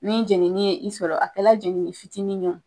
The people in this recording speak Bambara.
Ni jenini ye i sɔrɔ, a kɛ la jenini fitinin wo